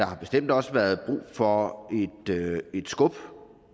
har bestemt også været brug for et skub